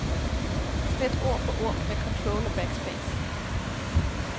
Slet ord for ord med control og backspace.